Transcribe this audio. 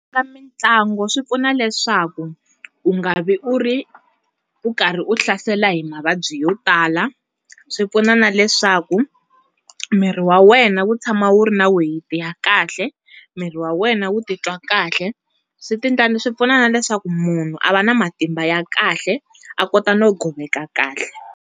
Ka mintlango swi pfuna leswaku, u nga vi u ri, u karhi u hlasela hi mavabyi yo tala. Swi pfuna na leswaku, mirhi wena wu tshama wu ri na weyiti ya kahle, mirhi wa wena wu ti twa kahle. Swi pfuna na leswaku munhu a va na matimba ya kahle, a kota no goveka kahle.